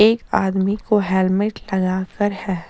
एक आदमी को हेलमेट लगा कर है।